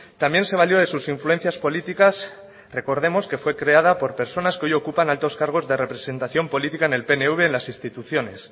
también se valió de sus influencias políticas recordemos que fue creada por personas que hoy ocupan altos cargos de representación política en el pnv en las instituciones